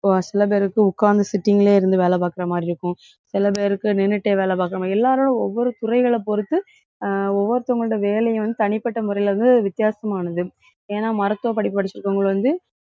சில பேருக்கு உக்காந்து sitting லேயே இருந்து வேலை பாக்குற மாதிரி இருக்கும். சில பேருக்கு நின்னுட்டே வேலை பாக்குறவங்க. எல்லாரும் ஒவ்வொரு துறைகளை பொறுத்து அஹ் ஒவ்வொருத்தங்களுடைய வேலையை வந்து தனிப்பட்ட முறையிலே வந்து வித்தியாசமானது. ஏன்னா, மருத்துவ படிப்பு படிச்சிருக்கவங்க வந்து,